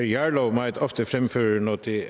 jarlov meget ofte fremfører når det